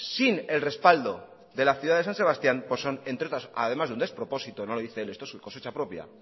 sin el respaldo de la ciudad de san sebastián son un despropósito no lo dice él esto es cosecha propia